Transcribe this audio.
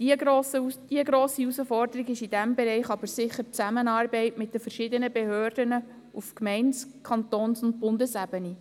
Die grosse Herausforderung in diesem Bereich ist aber sicher die Zusammenarbeit mit den verschiedenen Behörden auf Gemeinde-, Kantons- und Bundesebene.